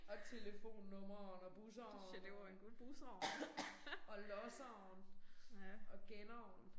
Og telefonnumrene og busserne og og losseren og genneren